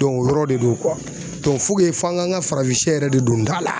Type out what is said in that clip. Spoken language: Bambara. o yɔrɔ de don k'an ka farafin sɛ yɛrɛ de don da la